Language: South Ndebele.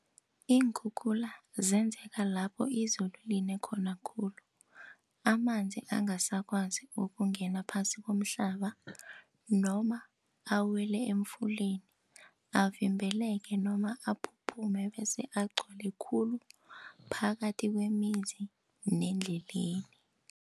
Iinkhukhula zenzeka lapho izulu line khona khulu. Amanzi angasakwazi ukungena phasi komhlaba noma awele emfuleni, avimbeleke noma aphuphume bese agcwale khulu phakathi kwemizi nendleleni.